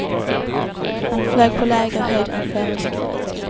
Han flög på lägre höjd än föreskrivet.